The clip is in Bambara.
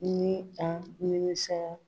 Ni an nimisara